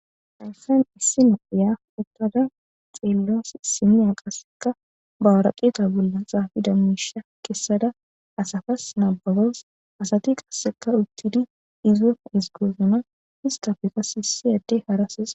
Arfen issi noohiya uttada xiellos simiya qasseka bawaraqeeta bolla xaafida misha kessada asafas naabagos asati qasseka uttidi izon isgoosuna histafekas hissi adde harases.